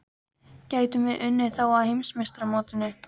Getum við unnið þá á Heimsmeistaramótinu?